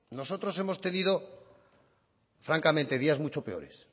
nosotros hemos tenido francamente días mucho peores